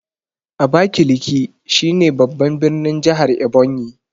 Abakiliki shi ne babban birnin jahar Ebonyi